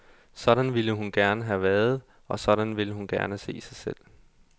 Sådan ville hun gerne have været, og sådan ville hun gerne se sig selv.